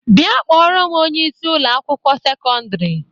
Bia kporo m onye isi Ụlọ akwụkwọ sekọndrị